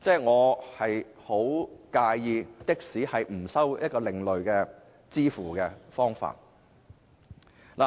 我十分介意的士不接受另類的付款方法。